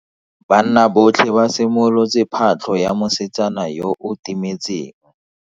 Banna botlhe ba simolotse patlo ya mosetsana yo o timetseng.